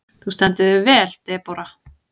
Þú stendur þig vel, Debóra!